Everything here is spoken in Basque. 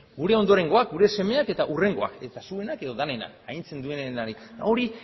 gure ondorengoak gure semeak eta hurrengoak eta zuenak edo denonak agintzen duenari hori